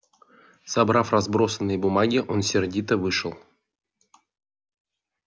собрав разбросанные бумаги он сердито вышел